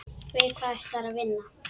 Við hvað ætlarðu að vinna?